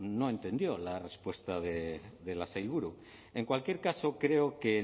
no entendió la respuesta de la sailburu en cualquier caso creo que